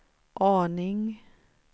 aning